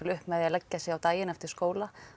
upp með því að leggja sig eftir skóla